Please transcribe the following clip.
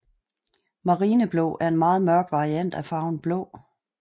Marineblå er en meget mørk variant af farven blå